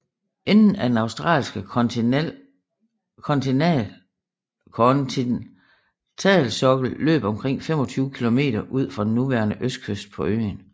Enden af den australske kontinentalsokkel løb omkring 25 kilometer ud for den nuværende østkyst på øen